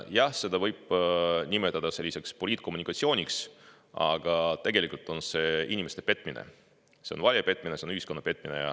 Jah, seda võib nimetada selliseks poliitkommunikatsiooniks, aga tegelikult on see inimeste petmine, see on valija petmine, see on ühiskonna petmine.